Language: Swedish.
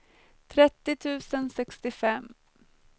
trettio tusen sextiofem